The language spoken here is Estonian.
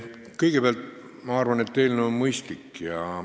Kõigepealt ma arvan, et eelnõu on mõistlik.